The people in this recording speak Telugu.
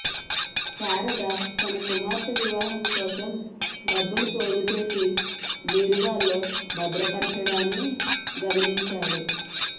శారద తన కుమార్తె వివాహం కోసం డబ్బులు పోగుచేసి బీరువాలో భద్రపర్చడాన్ని గమనించాడు